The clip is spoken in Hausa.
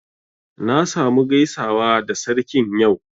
Na sa mu gaisawa da Sarkin yau